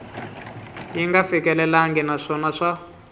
yi nga fikelelangi naswona swa